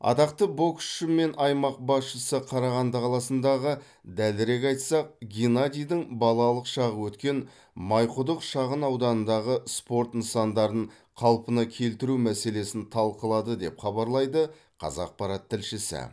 атақты боксшы мен аймақ басшысы қарағанды қаласындағы дәлірек айтсақ геннадийдің балалық шағы өткен майқұдық шағынауданындағы спорт нысандарын қалпына келтіру мәселесін талқылады деп хабарлайды қазақпарат тілшісі